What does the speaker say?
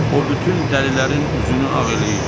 O bütün dəlilərin üzünü ağ eləyib.